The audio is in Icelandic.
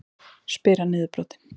spyr hann niðurbrotinn.